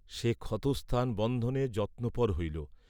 সে ক্ষতস্থান বন্ধনে যত্নপর হইল।